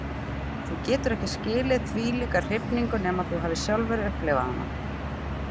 Þú getur ekki skilið þvílíka hrifningu nema þú hafir sjálfur upplifað hana.